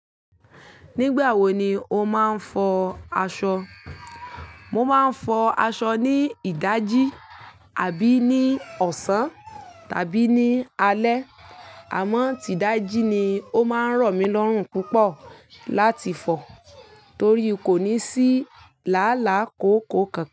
Nígbà wo ni o máa ń fọ aṣọ? Mo máa ń fọ aṣọ ní ìdájí àbí ní ọ̀sán tàbí ní alẹ́. Àmọ́ ti ìdájí ni o máa ń rọ̀ mí lọ́rùn púpọ̀ láti fọ torí kò ní sí làálàá kòókòó kan.